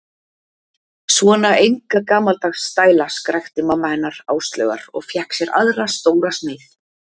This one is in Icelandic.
Svona enga gamaldags stæla skrækti mamma hennar Áslaugar og fékk sér aðra stóra sneið.